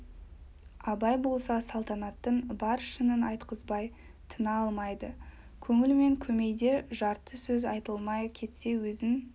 абай болса салтанаттың бар шынын айтқызбай тына алмайды көңіл мен көмейде жарты сөз айтылмай кетсе өзін